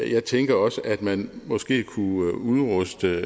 jeg tænker også at man måske kunne udruste